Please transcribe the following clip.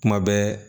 Kuma bɛɛ